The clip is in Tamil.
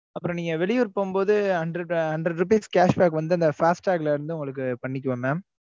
அப்புறம் நீங்க வெளியூர் போகும்போது hundred hundred rupees cash back வந்து அந்த fast tag ல இருந்து உங்களுக்கு பண்ணிக்குவேன் mam